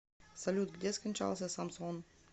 салют где скончался самсон